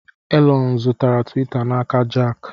Elon zụtara Tiwita n'aka Jack.